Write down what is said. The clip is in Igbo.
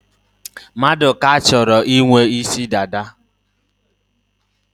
Maduka chọrọ ị nwe isi dada.